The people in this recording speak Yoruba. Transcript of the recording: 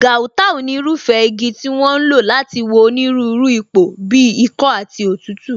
Gauta ni irúfẹ́ igi tí wón ń lò láti wo onírúurú ipò bíi ikọ́ àti òtútù